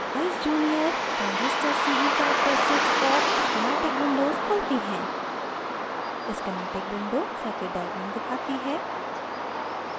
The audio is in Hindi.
eyes junior: transistor ce characteristics और schematic windows खुलती हैं